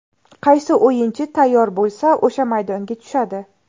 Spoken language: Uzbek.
Qaysi o‘yinchi tayyor bo‘lsa, o‘sha maydonga tushadi.